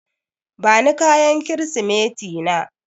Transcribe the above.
Bani kayan Kirsimeti na.